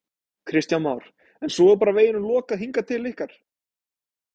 Kristján Már: En svo er bara veginum lokað hingað til ykkar?